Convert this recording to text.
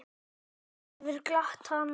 Þetta hefur glatt hana.